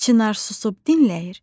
Çinar susub dinləyir,